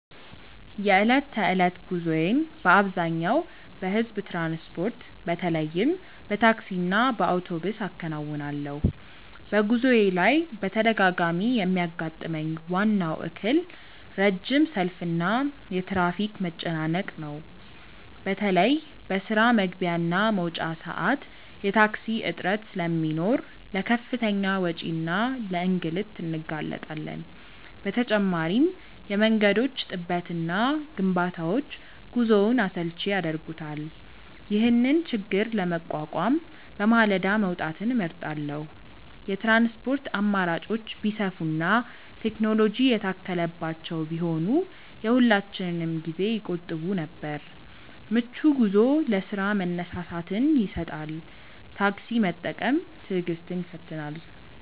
የዕለት ተዕለት ጉዞዬን በአብዛኛው በሕዝብ ትራንስፖርት፣ በተለይም በታክሲና በአውቶቡስ አከናውናለሁ። በጉዞዬ ላይ በተደጋጋሚ የሚያጋጥመኝ ዋናው እክል ረጅም ሰልፍና የትራፊክ መጨናነቅ ነው። በተለይ በስራ መግቢያና መውጫ ሰዓት የታክሲ እጥረት ስለሚኖር ለከፍተኛ ወጪና ለእንግልት እንጋለጣለን። በተጨማሪም የመንገዶች ጥበትና ግንባታዎች ጉዞውን አሰልቺ ያደርጉታል። ይህንን ችግር ለመቋቋም በማለዳ መውጣትን እመርጣለሁ። የትራንስፖርት አማራጮች ቢሰፉና ቴክኖሎጂ የታከለባቸው ቢሆኑ የሁላችንንም ጊዜ ይቆጥቡ ነበር። ምቹ ጉዞ ለስራ መነሳሳትን ይሰጣል። ታክሲ መጠበቅ ትዕግስትን ይፈትናል።